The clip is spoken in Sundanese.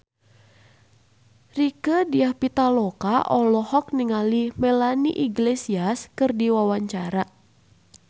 Rieke Diah Pitaloka olohok ningali Melanie Iglesias keur diwawancara